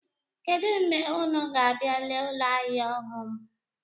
Kedụ mgbe unu ga-abịa lee ụlọahịa ọhụụ m?